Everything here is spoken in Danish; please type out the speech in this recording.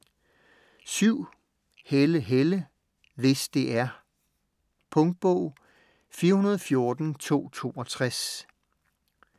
Helle, Helle: Hvis det er Punktbog 414262